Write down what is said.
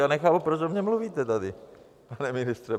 Já nechápu, proč o mně mluvíte tady, pane ministře.